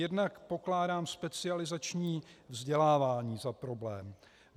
Jednak pokládám specializační vzdělávání za problém.